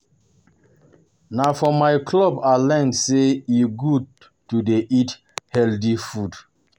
Na for my club I learn say e good to dey eat healthy food